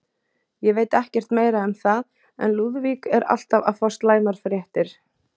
Ég veit ekkert meira um það, en Lúðvík er alltaf að fá slæmar fréttir.